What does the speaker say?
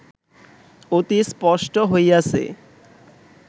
অতি স্পষ্ট হইয়াছে